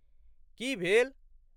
की भेल?